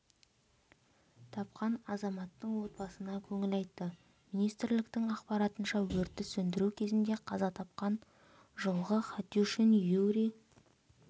тапқан азаматтың отбасына көңіл айтты министрліктің ақпаратынша өртті сөндіру кезінде қаза тапқан жылғы хатюшин юрий